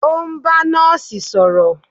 O n bá Nọ́ọ̀sì sọ̀rọ̀.